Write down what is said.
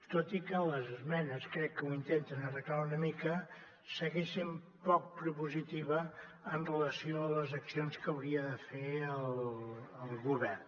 tot i que les esmenes crec que ho intenten arreglar una mica segueix sent poc propositiva en relació amb les accions que hauria de fer el govern